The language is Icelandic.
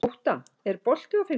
Ótta, er bolti á fimmtudaginn?